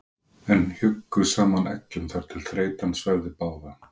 en hjuggu saman eggjum þar til þreytan svæfði báða.